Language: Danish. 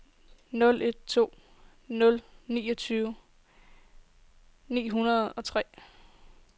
nul en to nul niogtyve ni hundrede og tre